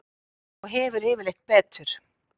Og hefur yfirleitt betur.